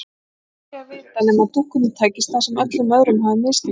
En það var aldrei að vita nema dúkkunni tækist það sem öllum öðrum hafði mistekist.